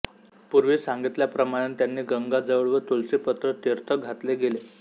पूर्वी सांगितल्याप्रमाणे त्यांना गंगाजळ व तुलसीपत्र तीर्थ घातले गेले